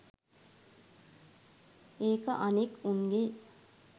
ඒක අනෙක් උන්ගේ